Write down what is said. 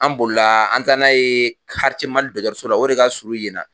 An bolila an taara n'a ye Quartier Mali dɔgɔtɔrɔso la o de ka surun yen na